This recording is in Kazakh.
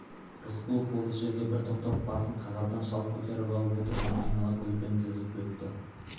рысқұлов осы жерге бір тоқтап басын қағаздан шалт көтеріп алып отырғандарды айнала көзбен тізіп өтті